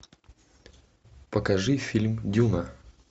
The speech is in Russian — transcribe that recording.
покажи фильм дюна